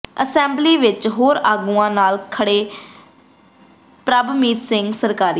assembly ਵਿੱਚ ਹੋਰ ਆਗੂਆਂ ਨਾਲ ਖੜੇ ਪ੍ਰਭਮੀਤ ਸਿੰਘ ਸਰਕਾਰੀਆ